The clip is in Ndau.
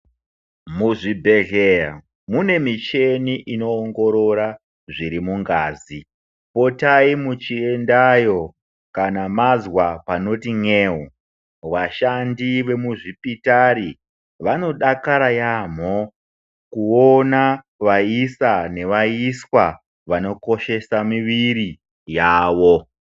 Muzvibhedhlera mune micheni inoongorora zviri mungazi potai muchiendayo kana mazwa panoti n'eu washandi wemuzvipitari vanodakara yaamo kuona vaisa neviswa vanokoshesa muwiri yawo.